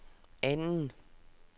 anden